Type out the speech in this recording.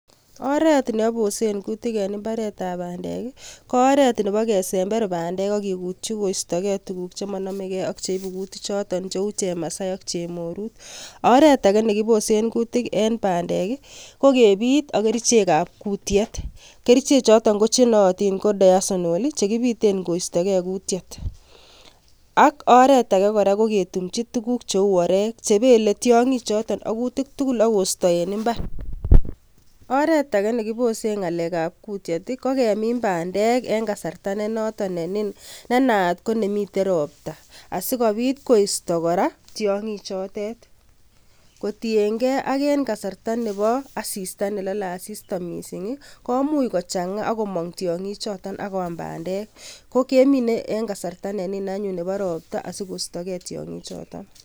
Oret neobosen kutik en mbaretab bandek ko oret Nebo kesember bandek ak kikuutyi koistogee tuguuk chemonomegee ak cheibu kutiikchoton, cheu chemasai ak chemoruut. Oret Agee nekibosen kuutik en bandek koo kebiit ak kerichek ab kutiet, kerichek choton chenooton ko Dawasonol chekibiiten koistoge kuutiet. Ak oret age KO ketumchi tuguuk cheu oreek chebele tiongichoton ak koisto en imbar, oretage nekibosen kuutiet KO kemin bandek en kasarta nenoton ne noon, nenayat ko kasartab robwek asikobit koiisto kora tiongik chotet, kotienge en kasarta nebo asista nelole asista missing komuch kochangaa ak komong tiongichoton ak koam bandek konyolu kemin en kasarta neniin anyone nebo ropta asikoistogee tiongik choton,